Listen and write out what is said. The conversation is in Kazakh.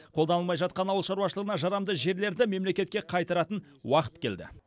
қолданылмай жатқан ауыл шаруашылығына жарамды жерлерді мемлекетке қайтаратын уақыт келді